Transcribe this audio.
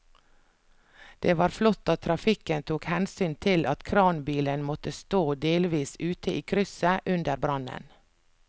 Det var flott at trafikken tok hensyn til at kranbilen måtte stå delvis ute i krysset under brannen.